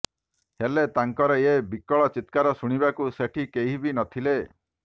ହେଲେ ତାଙ୍କର ଏ ବିକଳ ଚିତ୍କାର ଶୁଣିବାକୁ ସେଠି କେହି ବି ନଥିଲେ